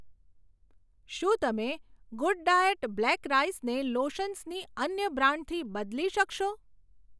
શું તમે good diet black રાઈસને લોશન્સની અન્ય બ્રાન્ડથી બદલી શકશો?